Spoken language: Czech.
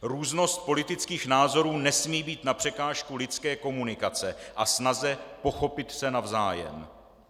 Různost politických názorů nesmí být na překážku lidské komunikace a snaze pochopit se navzájem.